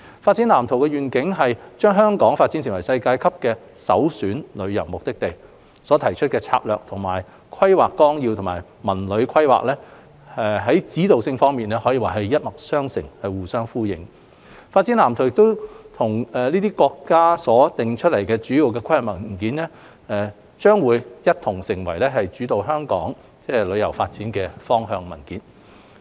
《發展藍圖》的願景是將香港發展成為世界級的首選旅遊目的地，提出的策略與《規劃綱要》及《文旅規劃》在指導性方面一脈相承、互相呼應，《發展藍圖》與這些國家所訂下的主要規劃文件將一同成為主導香港旅遊業發展方向的文件。